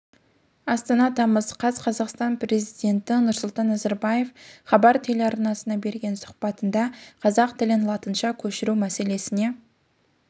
астана тамыз қаз қазақстан президенті нұрсұлтан назарбаев хабар телеарнасына берген сұхбатында қазақ тілін датыншаға көшіру мәселесіне